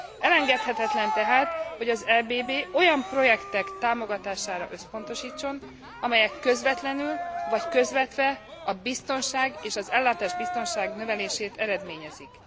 Elengedhetetlen tehát, hogy az EBB olyan projektek támogatására összpontosítson, amelyek közvetlenül, vagy közvetve a biztonság és az ellátásbiztonság növelését eredményezik.